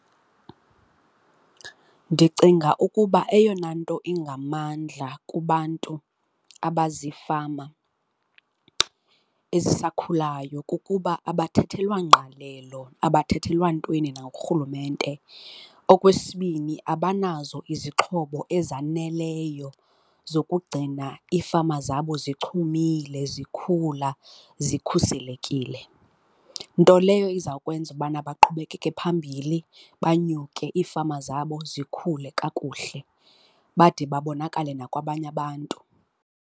Ndicinga ukuba eyona into ingamandla kubantu abazifama ezisakhulayo kukuba abathethelwa ngqalelo, abathethelwa ntweni nangurhulumente. Okwesibini, abanazo izixhobo ezaneleyo zokugcina ifama zabo zichumile, zikhula, zikhuselekile. Nto leyo izawukwenza ubana baqhubekeke phambili baphunyuke iifama zabo zikhule kakuhle bade babonakale nakwabanye abantu.